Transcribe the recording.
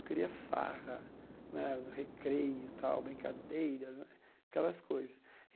Eu queria farra né no recreio tal, brincadeiras né, aquelas coisas.